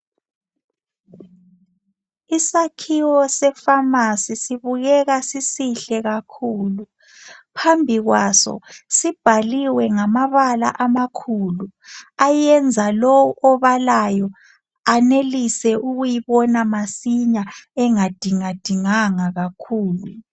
Esakhiwo efamasi sibukeka sisihle kakhulu. Phambi kwaso sibhaliwe ngamabala amakhulu, ayenza lo obalayo enelise ukuyibona masinya engadinga dinganga kakhulu.